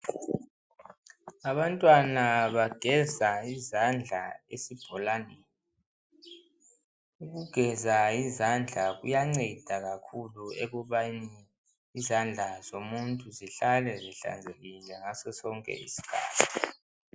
Abantwana bageza izandla esibholaneni. Ukugeza izandla kuyanceda kakhulu ekubeni izandla zomuntu zihlale zihlanzekile ngaso sonke isikhathi.